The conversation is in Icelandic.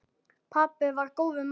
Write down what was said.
Pabbi var góður maður.